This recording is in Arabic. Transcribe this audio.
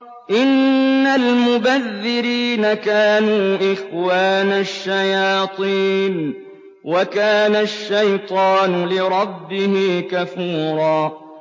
إِنَّ الْمُبَذِّرِينَ كَانُوا إِخْوَانَ الشَّيَاطِينِ ۖ وَكَانَ الشَّيْطَانُ لِرَبِّهِ كَفُورًا